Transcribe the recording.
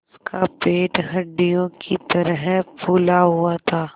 उसका पेट हंडिया की तरह फूला हुआ था